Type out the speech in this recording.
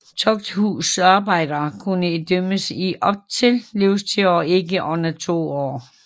Tugthusarbejde kunne idømmes i op til livstid og ikke under 2 år